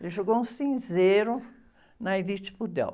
Ele jogou um cinzeiro na.